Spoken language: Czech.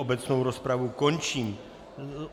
Obecnou rozpravu končím.